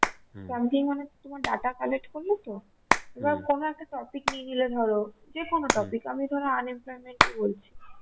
sampling মানে Data collect করলে তো এবার কোনো একটা topic নিয়ে নিলে ধরো যেকোনো topic আমি ধরো unemployment -ই বলছি